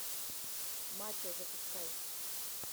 мачо запускай